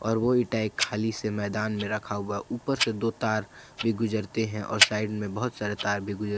और वो इंटा एक खाली से मैदान में रखा हुआ ऊपर से दो तार भी गुजरते हैं और साइड में बहुत सारे तार भी गुजर।